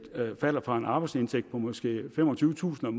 falder fra en arbejdsindtægt på måske femogtyvetusind